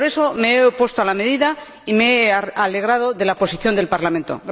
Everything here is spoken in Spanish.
Por eso me he opuesto a la medida y me he alegrado de la posición del Parlamento.